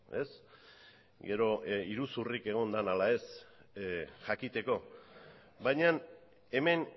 ez gero iruzurrik egon dan ala ez jakiteko baina hemen